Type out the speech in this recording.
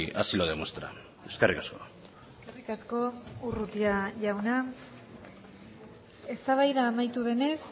así lo demuestra eskerrik asko eskerrik asko urrutia jauna eztabaida amaitu denez